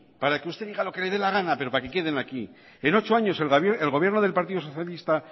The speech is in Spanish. para que usted diga lo que le dé la gana pero para que queden aquí en ocho años el gobierno del partido socialista